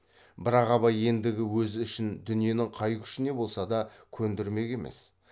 бірақ абай ендігі өз ішін дүниенің қай күшіне болса да көндірмек емес